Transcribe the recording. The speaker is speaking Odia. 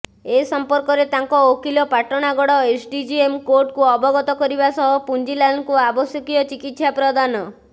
ଏସମ୍ପର୍କରେ ତାଙ୍କ ଓକିଲ ପାଟଣାଗଡ ଏସଡିଜିଏମ୍ କୋର୍ଟକୁ ଅବଗତ କରିବା ସହ ପୁଞ୍ଜିଲାଲଙ୍କୁ ଆବଶ୍ୟକୀୟ ଚିକିତ୍ସା ପ୍ରଦାନ